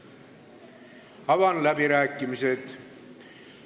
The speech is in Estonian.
Avan läbirääkimised.